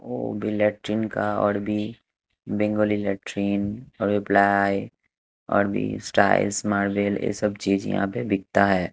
और ओ लैट्रिन का और भी बंगोली लैट्रिन और प्लाई और भी टाइल्स मार्बल ये सब चीज़े यहाँ पे बिकता है।